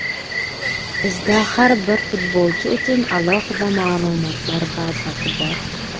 Bizda har bir futbolchi uchun alohida ma’lumotlar bazasi bor.